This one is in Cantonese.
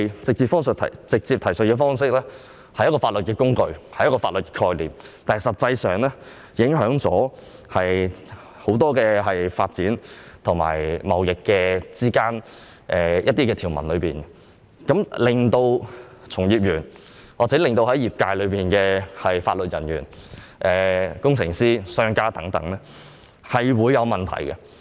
這種直接提述方式看似是法律工具、法律概念，但實際上卻會對很多發展及貿易規定的條文造成影響，令從業員或業界的法律人員、工程師、商家遇到問題。